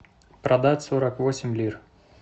продать сорок восемь лир